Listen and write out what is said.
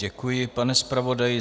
Děkuji, pane zpravodaji.